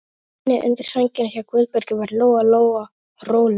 Í hlýjunni undir sænginni hjá Guðbergi varð Lóa-Lóa rólegri.